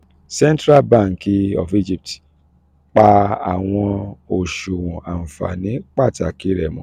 central bank of egypt pa awọn oṣuwọn anfani pataki rẹ mọ